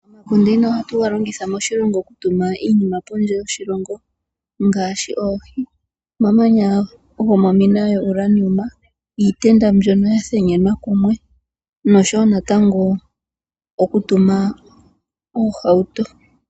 Econtaina ohali longithwa okutuma iinima pondje yoshilongo ngaashi oohi, omamanya gomomina yoUranium, iitenda mbyono ya thenenywa kumwe oshowo okutuma oohauto.